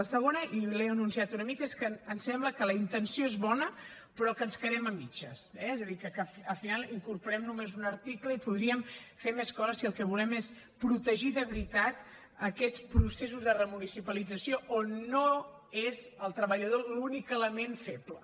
la segona i l’he anunciat una mica és que ens sembla que la intenció és bona però que ens quedem a mitges eh és a dir que al final incorporem només un article i podríem fer més coses si el que volem és protegir de veritat aquests processos de remunicipalització on no és el treballador l’únic element feble